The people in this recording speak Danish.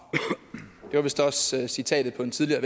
det var vist også citatet på en tidligere